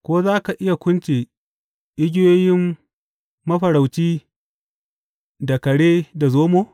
Ko za ka iya kunce igiyoyin mafarauci da kare da zomo?